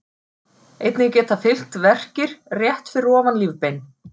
Einnig geta fylgt verkir rétt fyrir ofan lífbein.